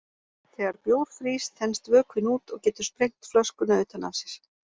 Þegar bjór frýs þenst vökvinn út og getur sprengt flöskuna utan af sér.